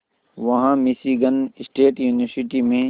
वहां Michigan State University में